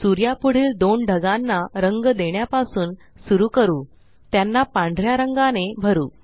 सूर्या पुढील दोन ढगांना रंग देण्यापासून सुरु करू त्यांना पांढऱ्या रंगाने भरू